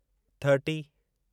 thirty